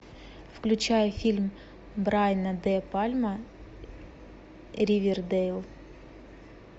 включай фильм брайана де пальма ривердейл